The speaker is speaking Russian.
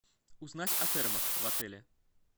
узнать о термах в отеле